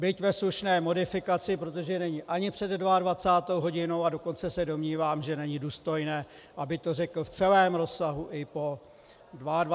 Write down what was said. Byť ve slušné modifikaci, protože není ani před 22. hodinou, a dokonce se domnívám, že není důstojné, aby to řekl v celém rozsahu i po 22. hodině.